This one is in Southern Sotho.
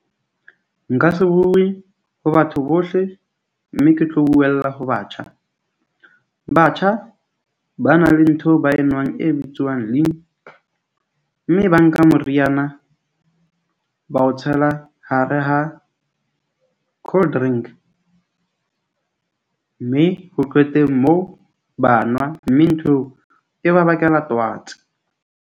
Nka se bue ho batho bohle mme ke tlo buella ho batjha. Batjha ba na le ntho ba enwang e bitswang . Mme ba nka moriana ba o tshela hare ha cold drink, mme ho qeteng mo ba nwa. Mme ntho e ba bakela twats.